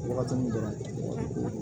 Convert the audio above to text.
Wagati min dɔrɔn